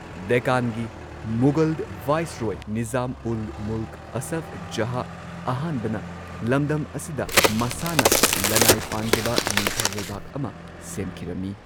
ꯗꯦꯛꯀꯥꯟꯒꯤ ꯃꯨꯘꯜ ꯚꯥꯏꯁꯔꯣꯏ ꯅꯤꯖꯥꯝ ꯎꯜ ꯃꯨꯜꯛ ꯑꯁꯐ ꯖꯍꯥꯍ ꯑꯍꯥꯟꯕꯅ ꯂꯝꯗꯝ ꯑꯁꯤꯗ ꯃꯁꯥꯅ ꯂꯅꯥꯏ ꯄꯥꯟꯖꯕ ꯅꯤꯡꯊꯧ ꯂꯩꯕꯥꯛ ꯑꯃ ꯁꯦꯝꯈꯤꯔꯝꯃꯤ꯫